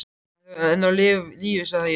Hann er þá enn á lífi sagði ég.